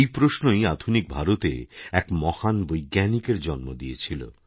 এই প্রশ্নই আধুনিক ভারতে এক মহান বৈজ্ঞানিকেরজন্ম দিয়েছিল